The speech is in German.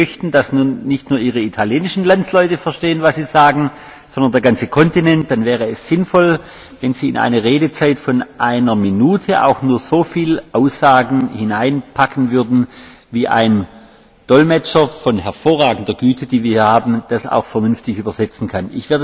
Wenn Sie möchten, dass nicht nur Ihre italienischen Landsleute verstehen, was Sie sagen, sondern der ganze Kontinent, dann wäre es sinnvoll, wenn Sie in eine Redezeit von einer Minute auch nur so viel Aussagen hineinpacken würden, wie ein Dolmetscher von hervorragender Güte, wie wir sie hier haben, das auch vernünftig dolmetschen kann.